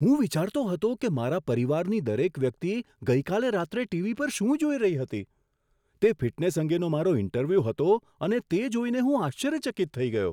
હું વિચારતો હતો કે મારા પરિવારની દરેક વ્યક્તિ ગઈકાલે રાત્રે ટીવી પર શું જોઈ રહી હતી, તે ફિટનેસ અંગેનો મારો ઇન્ટરવ્યૂ હતો, તે જોઈને હું આશ્ચર્યચકિત થઈ ગયો!